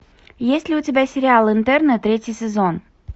есть ли у тебя сериал интерны третий сезон